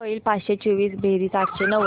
किती होईल पाचशे चोवीस बेरीज आठशे नव्वद